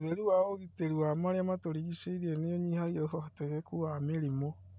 ũtheru wa ũgitĩri marĩa matũrigicĩirie nĩũnyihagia ũhoteteku wa mĩrimũ